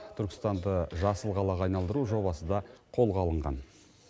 түркістанды жасыл қалаға айналдыру жобасы да қолға алынған